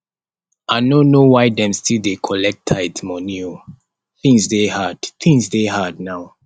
i no know why dem still dey collect tithe moni o tins dey hard tins dey hard now